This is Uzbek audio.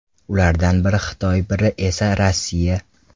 Ulardan biri Xitoy, biri esa Rossiya.